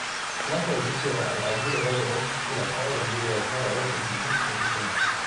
Na fahimci cewa al’adu daban-daban suna kawo wa duniya kyawawan ɗabi’u da hikima.